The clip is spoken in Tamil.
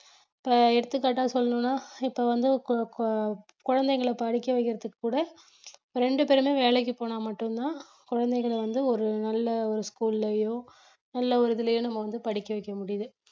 இப்ப எடுத்துக்காட்டா சொல்லணும்னா இப்ப வந்து கு~ கு~ குழந்தைகளை படிக்க வைக்கிறதுக்கு கூட ரெண்டு பேருமே வேலைக்கு போனா மட்டும்தான் குழந்தைகளை வந்து ஒரு நல்ல ஒரு school லயோ நல்ல ஒரு இதிலேயோ நம்ம வந்து படிக்க வைக்க முடியுது